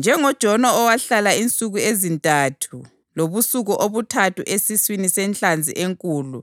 NjengoJona owahlala insuku ezintathu lobusuku obuthathu esiswini senhlanzi enkulu,